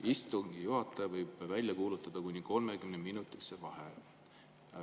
"Istungi juhataja võib välja kuulutada kuni 30‑minutise vaheaja.